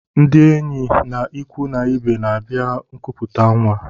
Ndị enyi na ịkwụ na ibe n'abia nkuputa nwa.